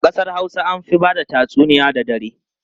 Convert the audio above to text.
A kasar Hausa an fi ba da tatsuniya da dare.